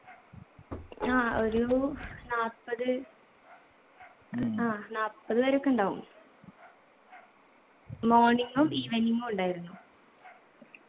ആ ഒരു നാപ്പത് ആ നാപ്പത് പേരക്കെ ഉണ്ടാവും morning ഉം evening ഉം ഉണ്ടായിരുന്നു